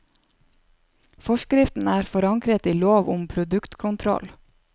Forskriften er forankret i lov om produktkontroll.